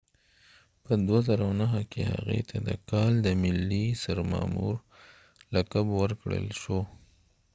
په 2009 کې هغې ته د کال د ملي سرمامور لقب ورکړل شو